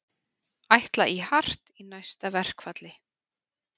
Ætla í hart í næsta verkfalli